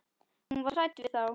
Hún var hrædd við þá.